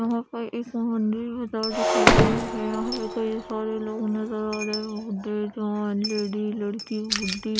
यहा पर एक दिख रहा है यहा पर कई सारे लोग नजर आ रहे है --